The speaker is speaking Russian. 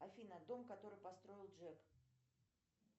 афина дом который построил джек